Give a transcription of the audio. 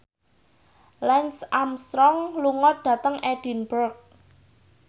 Lance Armstrong lunga dhateng Edinburgh